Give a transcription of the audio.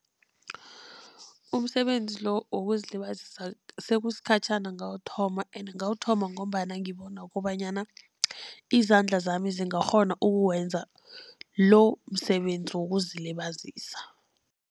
Umsebenzi lo wokuzilibazisa sekusikhatjhana ngawuthoma, ende ngawuthoma ngombana ngibona kobanyana izandla zami zingakghona ukuwenza lo msebenzi wokuzilibazisa.